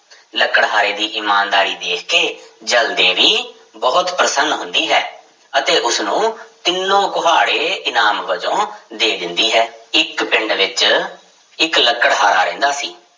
ਲੱਕੜਹਾਰੇ ਦੀ ਇਮਾਨਦਾਰੀ ਦੇਖ ਕੇ ਜਲ ਦੇਵੀ ਬਹੁਤ ਪ੍ਰਸੰਨ ਹੁੰਦੀ ਹੈ ਅਤੇ ਉਸਨੂੰ ਤਿੰਨੋ ਕੁਹਾੜੇ ਇਨਾਮ ਵਜੋਂ ਦੇ ਦਿੰਦੀ ਹੈ, ਇੱਕ ਪਿੰਡ ਵਿੱਚ ਇੱਕ ਲਕੜਹਾਰਾ ਰਹਿੰਦਾ ਸੀ।